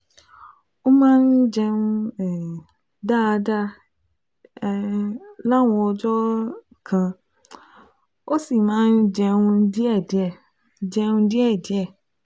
Ó máa ń jẹun um dáadáa um láwọn ọjọ́ um kan, ó sì máa ń jẹun díẹ̀díẹ̀ jẹun díẹ̀díẹ̀